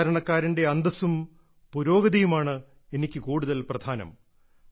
സാധാരണക്കാരന്റെ അന്തസ്സും പുരോഗതിയുമാണ് എനിക്ക് കൂടുതൽ പ്രധാനം